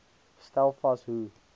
stel vas hoe